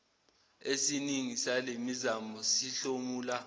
esiningi salemizamo sihlomula